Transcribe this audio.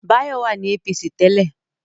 Báyọ̀ wà ní APC tẹ́lẹ̀